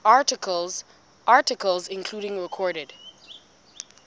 articles including recorded